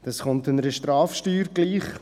Das kommt einer Strafsteuer gleich.